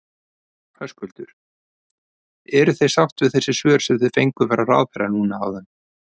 Höskuldur: Eruð þið sátt við þessi svör sem þið fenguð frá ráðherra núna áðan?